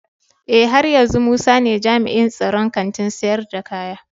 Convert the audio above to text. Eh, haryanzu musa ne jami'in tsaron Kantin sayar da kaya.